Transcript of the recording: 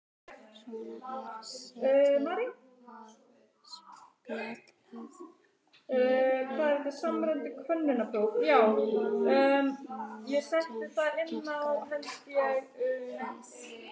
Svona er setið og spjallað á léttum nótum nokkra hríð.